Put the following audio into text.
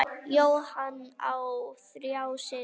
Jóhann á þrjá syni.